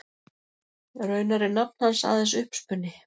Raunar er nafn hans aðeins uppspuni.